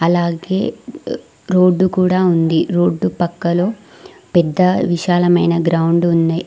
అలాగే రోడ్డు కూడా ఉంది. రోడ్డు పక్కలో పెద్ద విశాలమైన గ్రౌండు ఉన్నయ్.